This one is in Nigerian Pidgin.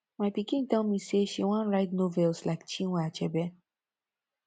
my pikin tell me say she wan write novels like chinua achebe